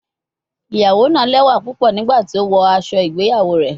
Iyawo naa lẹwa pupọ nigbati o wọ aṣọ igbeyawo rẹ